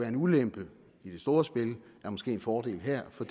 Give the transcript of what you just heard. en ulempe i det store spil er måske en fordel her for